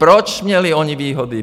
Proč měli oni výhody?